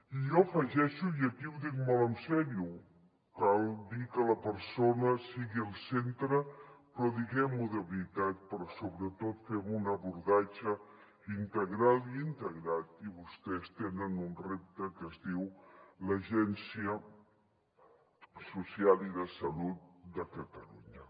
i jo afegeixo i aquí ho dic molt seriosament cal dir que la persona sigui al centre però diguem ho de veritat però sobretot fem un abordatge integral i integrat i vostès tenen un repte que es diu l’agència social i de salut de catalunya